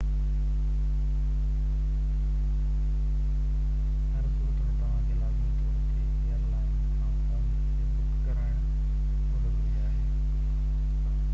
هر صورت ۾ توهان کي لازمي طور تي ايئرلائن کان فون ذريعي بُڪ ڪرائڻ ضروري آهي